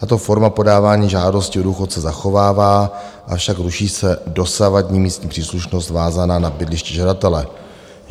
Tato forma podávání žádosti o důchod se zachovává, avšak ruší se dosavadní místní příslušnost vázaná na bydliště žadatele.